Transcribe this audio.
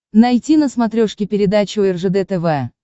найти на смотрешке передачу ржд тв